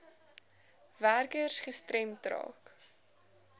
werkers gestremd raak